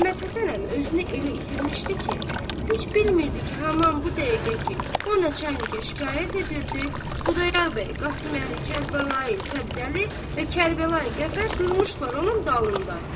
Məhəmməd Həsən əmi özünü elə itirmişdi ki, heç bilmirdi ki, haman bu dəqiqə ki, o Neçə əliyə şikayət edirdi, Xudayar bəy, Qasıməli, Kərbəlayı, Səbzəli və Kərbəlayı Qəfər durmuşdular onun dalında.